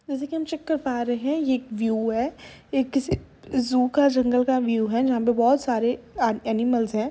जैसे कि हम चेक कर पा रहे हैं ये एक व्यू है। ये किसी जू का जंगल का व्यू है जहाँ पे बोहोत सारे आ एनिमल्स हैं।